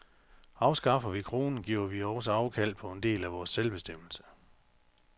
Afskaffer vi kronen, giver vi også afkald på en del af vores selvbestemmelse.